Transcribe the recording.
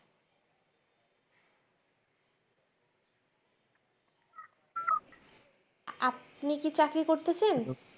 আপনি কি চাকরি করতেছেন